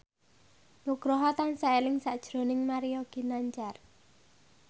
Nugroho tansah eling sakjroning Mario Ginanjar